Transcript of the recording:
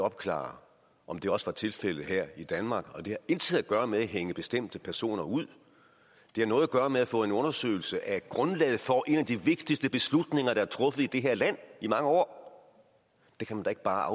opklaret om det også var tilfældet her i danmark det har intet at gøre med hænge bestemte personer ud det har noget at gøre med at få en undersøgelse af grundlaget for en af de vigtigste beslutninger der er truffet i det her land i mange år det kan man da ikke bare